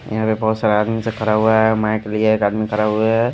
यहाँ पे बहुत सारा आदमी से खरा हुआ है माइक लिया एक आदमी खरा हुआ है।